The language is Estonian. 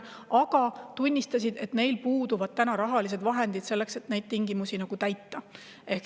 Aga nad tunnistasid, et neil puuduvad rahalised vahendid selleks, et neid tingimusi täita.